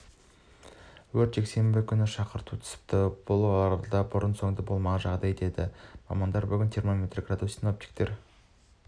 өткен жексенбі күні шақырту түсіпті бұл оралда бұрын-соңды болмаған жағдай дейді мамандар бүгін термометр градус синоптиктер